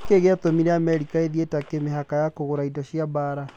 Nĩkĩĩ gĩatũmire Amerika ĩhe Turkey mĩbaka ya kũgũra indo cia mbaara?